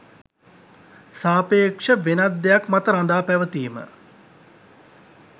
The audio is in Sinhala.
සාපේක්ෂ– වෙනත් දෙයක් මත රඳා පැවතීම